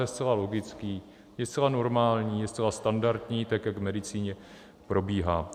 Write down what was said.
Je zcela logický, je zcela normální, je zcela standardní, tak jak v medicíně probíhá.